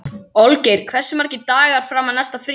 Olgeir, hversu margir dagar fram að næsta fríi?